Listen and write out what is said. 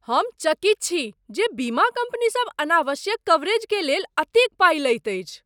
हम चकित छी जे बीमा कंपनी सभ अनावश्यक कवरेज के लेल एतेक पाइ लैत अछि।